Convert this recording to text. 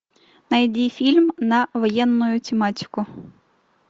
найди фильм на военную тематику